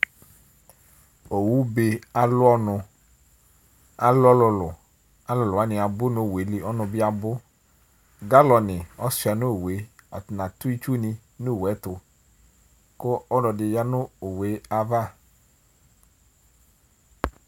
Owʊ be alʊ ɔnʊ Alʊ ɔlʊlʊ Alʊlʊ wanɩ abʊ nʊ owʊelɩ, ɔnʊ bɩ abʊ Galɔnɩ ɔsʊa nowʊ Atanɩ atʊ ɩtsʊ nowʊe tʊ kʊ ɔlɔdɩ ya nʊ owʊe ava